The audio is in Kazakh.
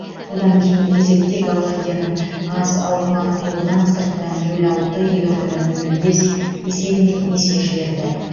одан кейінгі кезекте голландияның аз алкмар клубынан сыртта нөл алты елордада нөл бес есебімен есе жіберді